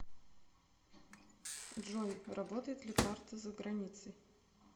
джой работает ли карта за границей